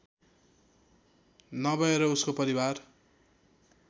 नभएर उसको परिवार